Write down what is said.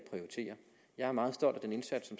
jeg er meget stolt af den indsats